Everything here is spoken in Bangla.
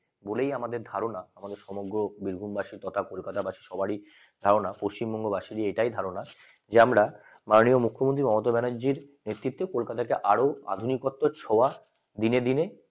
বলে আমাদের ধারণা আম আমাদের সমগ্র বীরভূম বাঁশি তথা কলকাতা বাসী সবারই ধারণা পশ্চিমবঙ্গবাসীদের এটাই ধারণা যে আমরা মানি না মুখ্যমন্ত্রী মমতা ব্যানার্জির নেতৃত্বে কলকাতা কে আরো আধুনিক কর্তার ছোঁয়া দিনে দিনে